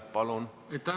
Palun!